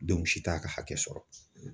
si t'a ka hakɛ sɔrɔ.